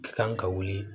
Kan ka wuli